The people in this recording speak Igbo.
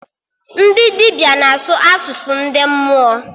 Ndị dibịa na-asụ asụsụ ndị mmụọ